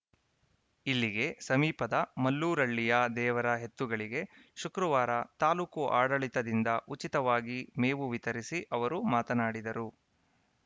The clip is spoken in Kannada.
ಇಲ್ಲಿಗೆ ಸಮೀಪದ ಮಲ್ಲೂರಹಳ್ಳಿಯ ದೇವರ ಎತ್ತುಗಳಿಗೆ ಶುಕ್ರವಾರ ತಾಲೂಕು ಆಡಳಿತದಿಂದ ಉಚಿತವಾಗಿ ಮೇವು ವಿತರಿಸಿ ಅವರು ಮಾತನಾಡಿದರು